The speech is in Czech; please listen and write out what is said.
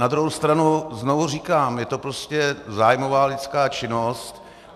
Na druhou stranu znovu říkám, je to prostě zájmová lidská činnost.